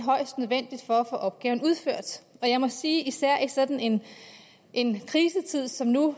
og at få opgaverne udført jeg må sige især i sådan en krisetid som nu